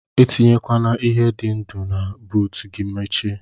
Atinyekwana ihe di ndu na buut gi mechie.